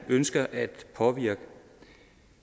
ønsker at påvirke